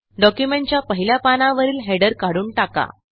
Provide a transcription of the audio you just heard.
डॉक्युमेंटच्या पहिल्या पानावरील हेडर काढून टाका